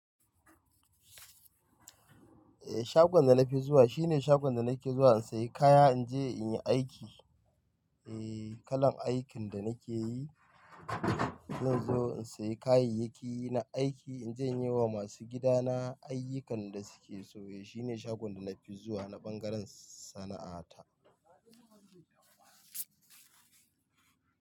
Eh, shagon da na fi zuwa shine shagon da nake zuwa in sayi kaya in je in yi aiki. Eh, kalan aikin da nake yi. Zan zo in sayi kayayyaki na aiki in je in yi wa masu gidana ayyukan da suke so. Eh, shine shagon da na fi zuwa na ɓangaren sana'ata.